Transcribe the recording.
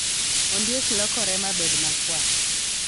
Ondiek lokore mabed makwar